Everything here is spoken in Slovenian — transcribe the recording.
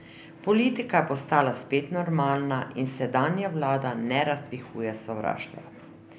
Politika je postala spet normalna in sedanja vlada ne razpihuje sovraštva.